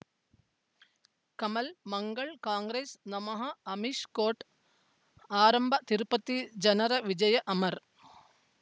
ಕಮಲ್ ಮಂಗಳ್ ಕಾಂಗ್ರೆಸ್ ನಮಃ ಅಮಿಷ್ ಕೋರ್ಟ್ ಆರಂಭ ತಿರುಪತಿ ಜನರ ವಿಜಯ ಅಮರ್